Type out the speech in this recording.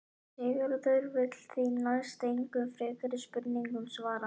Sigurður vill því næst engum frekari spurningum svara.